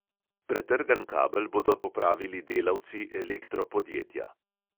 Pretrgan kabel bodo popravili delavci elektro podjetja.